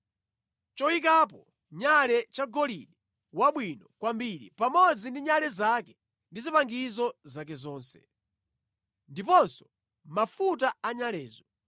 choyikapo nyale chagolide wabwino kwambiri pamodzi ndi nyale zake ndi zipangizo zake zonse, ndiponso mafuta anyalezo;